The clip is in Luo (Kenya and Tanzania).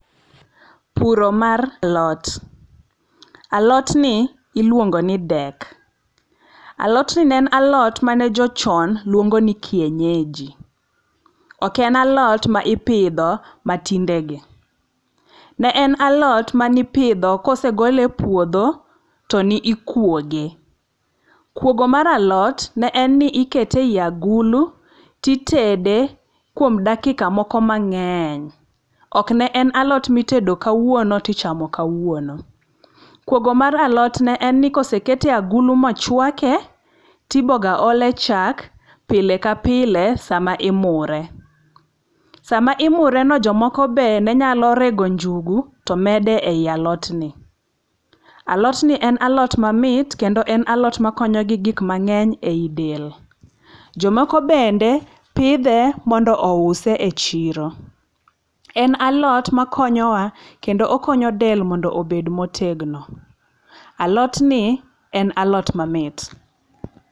Puro mar alot. Alotni iluongoni dek. Alotni ne en alot mane jochon luongo ni kienyeji. Ok en alot ma ipidho matindegi. Ne alot manipidho kosegole e ouodho, to ni ikwoge. Kwogo mar alot ,ne en ni ikete i agulu, titede kuom dakika moko mang'eny. Ok ne en alot mitedo kawuono tichamo kawuono. Kuogo mar alot ne en ni koseket e agulu mochwake, tiboga ole chak pile ka pile sama imure. Sama imureno, jomoko be ne nyalo rego njugu to medo e i alotni. Alotni en alot mamit, kendo en alot makonyo gi gik mang'eny ei del. Jomoko bende, pidhe mondo ouse e chiro. En alot ma koyowa kendo okonyo del mondo obed motegno. Alotni en alot mamit.